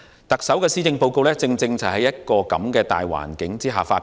特首的施政報告正是在這個大環境下發表。